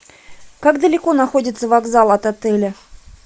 как далеко находится вокзал от отеля